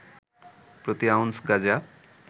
প্রতি আউন্স গাজা